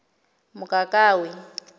mokakawe